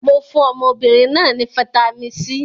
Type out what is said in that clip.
Mo fún ọmọbìnrin náà ní fataímìn C.